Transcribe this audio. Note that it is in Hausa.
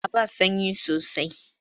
A'a ba sanyi sosai.